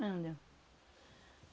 Não deu.